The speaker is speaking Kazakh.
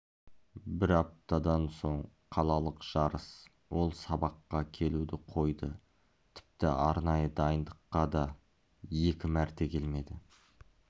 бір аптадан соң қалалық жарыс ол сабаққа келуді қойды тіпті арнайы дайындыққа да екі мәрте келмеді